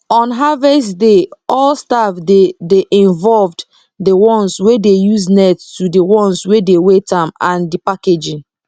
on harvest day all staff dey dey involvedthe ones wey dey use net to the ones wey dey weight am and the packaging